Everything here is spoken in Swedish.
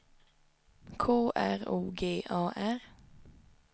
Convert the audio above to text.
K R O G A R